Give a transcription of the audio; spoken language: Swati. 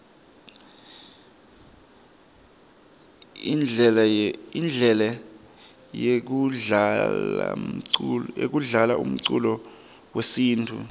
indlele yekudlalaumculo wesintfu